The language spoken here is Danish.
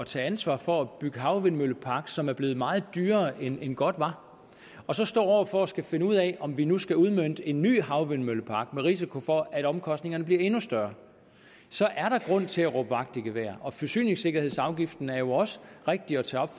tage ansvar for at bygge en havvindmøllepark som er blevet meget dyrere end godt var og så står over for at skulle finde ud af om vi nu skal udmønte en ny havvindmøllepark med risiko for at omkostningerne bliver endnu større så er der grund til at råbe vagt i gevær forsyningssikkerhedsafgiften er jo også rigtig at tage